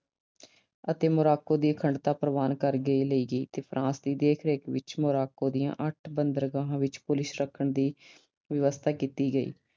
ਅਤੇ Morocco ਦੀ ਅਖੰਡਤਾ ਪ੍ਰਵਾਨ ਕਰ ਲਈ ਗਈ ਅਤੇ France ਦੀ ਦੇਖ-ਰੇਖ ਵਿੱਚ Morocco ਦੀਆਂ ਅੱਠ ਬੰਦਰਗਾਹਾਂ ਵਿੱਚ ਪੁਲਿਸ ਰੱਖਣ ਦੀ ਵਿਵਸਥਾ ਕੀਤੀ ਗਈ।